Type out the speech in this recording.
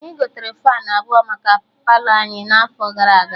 Anyị gotere Faanụ abụọ maka Palọ anyị n'afọ gara aga